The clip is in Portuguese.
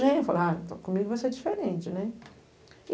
genro. Falei, ah, então comigo vai ser diferente, né?